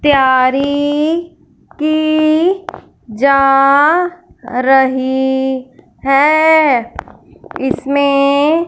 तैयारी की जा रही है इसमें--